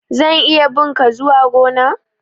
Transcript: zan iya bi' nka zuwa gona?